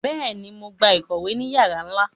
Béèni, Mo n gbà ìkòwé ní yara nla